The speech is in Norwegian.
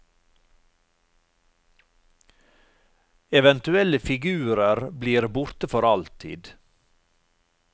Eventuelle figurer blir borte for alltid.